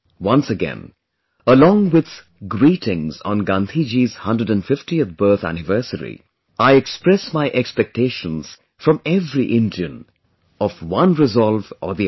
Once again, along with greetings on Gandhiji's 150th birth anniversary, I express my expectations from every Indian, of one resolve or the other